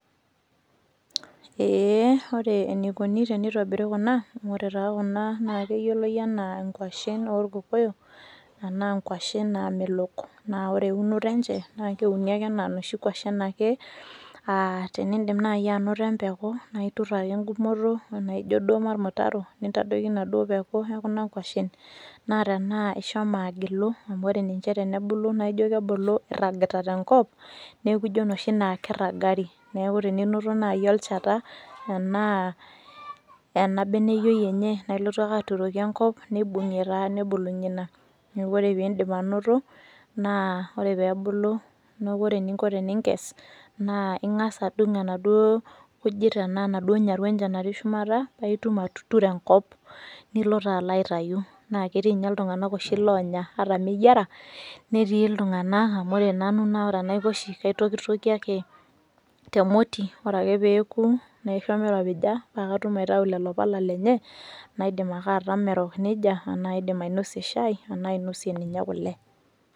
Eeh ore eneikuni teneitobiri kuna, amu ore taa kuna naakeyioloi anaa nkuashin orkokoyo anaa nkuashin naamelok. Naa ore eunoto enche naakeuni anaa noshi kuashin ake aah tinindim nai anoto empeku naaiturr ake engumoto anaaijo duo molmutaro nintadoiki naduo peku ekuna kuashin. Naa tenaa ishomo agilu amu ore ninche tenebulu naaijo kebulu eirragita tenkop neeku ijo noshi naa keirragari. Neaku tininoto nai olcheta anaa ena beneyoi enye naailotu ake aturoki enkop neibung'ie taa nebulunye ina. Neaku ore piindip anoto naa ore peebulu neaku ore eninko teninkes naa ing'as adung' enaduo kujit anaa naduo nyaru enche natii shumata paaitum atuturo enkop nilo taa aloitayu. Naaketiinye oshi iltung'ana loonya. Ata meyiera netii iltung'ana amu ore nanu enaiko oshi aitokitokie ake temoti ore ake peoku naisho meiropija paakatum aitau lelo pala lenye naidim ake atama erok neija aana aidim ainosie shai anaa ainosie ninye kole.